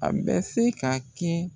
A bɛ se ka kɛ